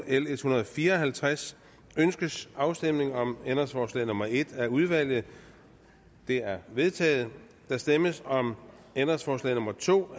l en hundrede og fire og halvtreds ønskes afstemning om ændringsforslag nummer en af udvalget det er vedtaget der stemmes om ændringsforslag nummer to